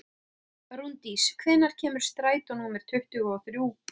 Rúndís, hvenær kemur strætó númer tuttugu og þrjú?